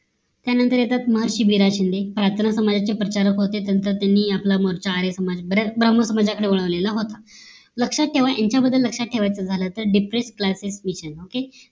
त्या नंतर येतात महर्षी बिरा शिंदे प्रार्थना समाजाचे प्रचारक होते त्यांचा त्यांनी आपला मोर्चा आर्य समाज बऱ्याच ब्राम्हण समाजाकडे वळवलेला होता लक्ष्यात ठेवा यांच्या बद्दल लक्ष्यात ठेवाच झालं तर depress CLASSES SPEECHES